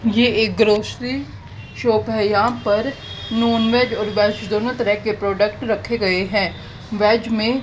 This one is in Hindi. ये एक ग्रॉसरी शॉप है यहां पर नॉनवेज और वेज दोनों तरह के प्रोडक्ट रखे गए हैं वेज में--